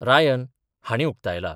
Ryan हाणीं उक्तायला.